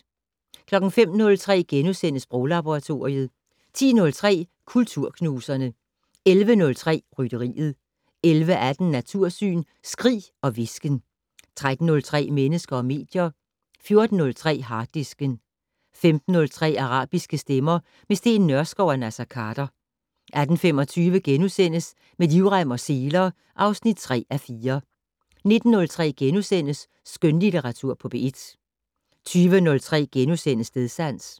05:03: Sproglaboratoriet * 10:03: Kulturknuserne 11:03: Rytteriet 11:18: Natursyn: Skrig og hvisken 13:03: Mennesker og medier 14:03: Harddisken 15:03: Arabiske stemmer - med Steen Nørskov og Naser Khader 18:25: Med livrem og seler (3:4)* 19:03: Skønlitteratur på P1 * 20:03: Stedsans *